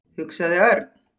hugsaði Örn.